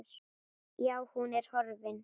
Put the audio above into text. Já, hún er horfin.